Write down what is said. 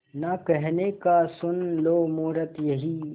ना कहने का सुन लो मुहूर्त यही